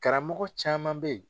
Karamɔgɔ caman bɛ yen.